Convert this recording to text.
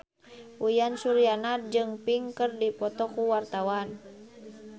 Uyan Suryana jeung Pink keur dipoto ku wartawan